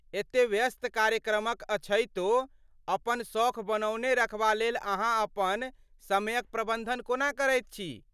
एते व्यस्त कार्यक्रमक अछैतो अपन सौख बनौने रखबा लेल अहाँ अपन समयक प्रबन्धन कोना करैत छी?